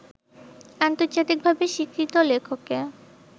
আন্তর্জাতিকভাবে স্বীকৃত লেখকে